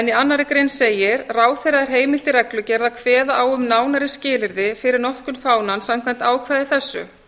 í annarri grein segir ráðherra er heimilt í reglugerð að kveða á um nánari skilyrði fyrir notkun fánans samkvæmt ákvæði þessu